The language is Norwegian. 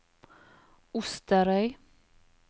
Osterøy